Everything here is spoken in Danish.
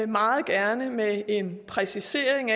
meget gerne med en præcisering